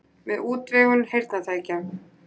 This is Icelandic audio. Með útvegun heyrnartækja.